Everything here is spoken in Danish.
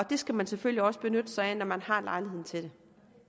det skal man selvfølgelig også benytte sig af når man har lejligheden til det